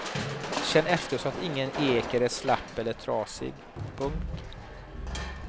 Känn efter så att ingen eker är slapp eller trasig. punkt